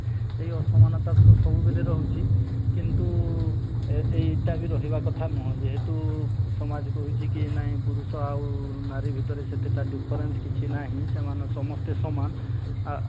ଏଇ ଅସମାନତା ତ ସବୁବେଳେ ରହୁଛି କିନ୍ତୁ ଏଇ ଏଇଟା ବି ରହିବା କଥା ନୁହଁ ଯେହେତୁ ସମାଜ କହୁଛି କି ନାହିଁ ପୁରୁଷ ଆଉ ନାରୀ ଭିତରେ ସେତେଟା different କିଛି ନାହିଁ ସେମାନେ ସମସ୍ତେ ସମାନ ଆଃ